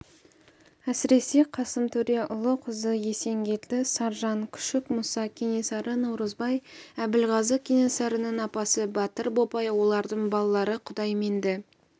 әсіресе қасым төре ұлы-қызы есенгелді саржан күшік мұса кенесары наурызбай әбілғазы кенесарының апасы батыр бопай олардың балалары құдайменді